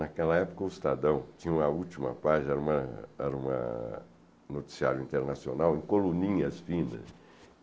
Naquela época o Estadão tinha uma última página, era uma era uma noticiário internacional em coluninhas finas.